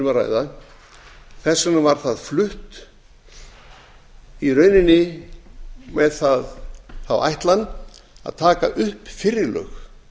sem við erum að ræða flutt í rauninni með þá ætlan að taka upp fyrri lög